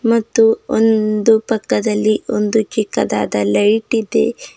ಮತ್ತು ಒಂದು ಪಕ್ಕದಲ್ಲಿ ಒಂದು ಚಿಕ್ಕದಾದ ಲೈಟಿದೆ.